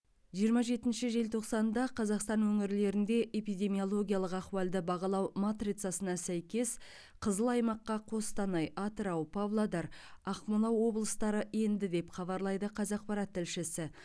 жиырма жетінші желтоқсанда қазақстан өңірлерінде эпидемиологиялық ахуалды бағалау матрицасына сәйкес қызыл аймаққа қостанай атырау павлодар ақмола облыстары енді деп хабарлайды қазақпарат тілшісі